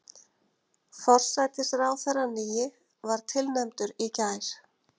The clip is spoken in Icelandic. Forsætisráðherrann nýi var tilnefndur í gær